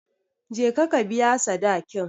Je ka ka biya sadakin.